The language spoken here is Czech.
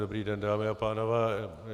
Dobrý den, dámy a pánové.